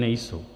Nejsou.